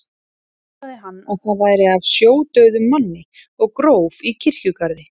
Ætlaði hann að það væri af sjódauðum manni og gróf í kirkjugarði.